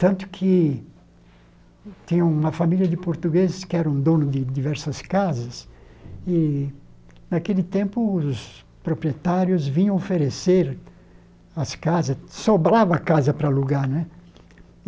Tanto que tinha uma família de portugueses que eram donos de diversas casas, e naquele tempo os proprietários vinham oferecer as casas, sobrava casa para alugar, né?